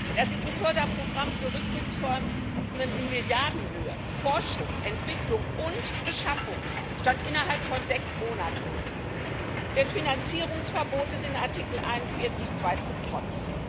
Das EU Förderprogramm für Rüstungsvorhaben in Milliardenhöhe Forschung, Entwicklung und Beschaffung stand innerhalb von sechs Monaten, dem Finanzierungsverbot in Artikel 41 Absatz 2 zum Trotz.